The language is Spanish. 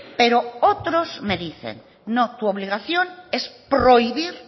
pero otros me dicen no tu obligación es prohibir